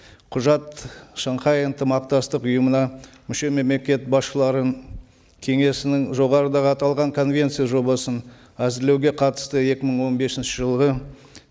құжат шанхай ынтымақтастық ұйымына мүше мемлекет басшылары кеңесінің жоғарыдағы аталған конвенция жобасын әзірлеуге қатысты екі мың он бесінші жылғы